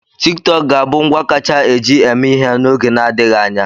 TikTok ga-abụ ngwa kacha eji eme ihe n'oge n'adịghị anya.